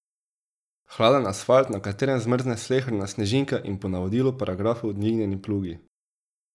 Hladen asfalt, na katerem zmrzne sleherna snežinka in po navodilu paragrafov dvignjeni plugi.